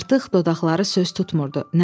Artıq dodaqları söz tutmurdu.